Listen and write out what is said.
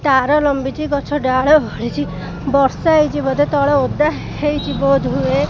ତାର ଲମ୍ବିଚି ଗଛ ଡାଳ ଓହଳିଚି ବର୍ଷା ହେଇଚି ବୋଧେ ତଳେ ଓଦା ହେଇଚି ବୋଧ୍ ହୁଏ।